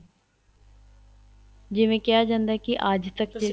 ਜਿਵੇਂ ਕਿਹਾ ਜਾਂਦਾ ਅੱਜ ਤੱਕ ਤੁਸੀਂ